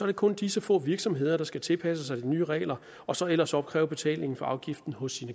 det kun disse få virksomheder der skal tilpasse sig de nye regler og så ellers opkræve betalingen for afgiften hos